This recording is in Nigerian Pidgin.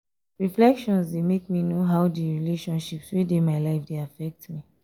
reflection dey make me know how di relationships wey dey my life dey affect me.